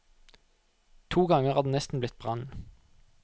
To ganger er det nesten blitt brann.